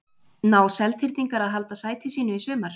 Ná Seltirningar að halda sæti sínu í sumar?